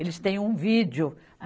Eles têm um vídeo.